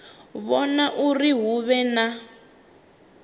vhona uri hu vhe na